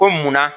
Ko munna